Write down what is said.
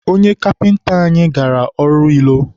onye kapịnta anyị gara ọrụ ilo.